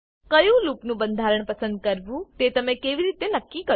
કયું લૂપનું બંધારણ પસંદ કરવું તે તમે કેવી રીતે નક્કી કરશો